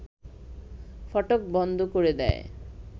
ফটক বন্ধ করে দেয়